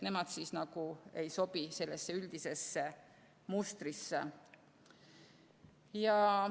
Nemad nagu ei sobi sellesse üldisesse mustrisse.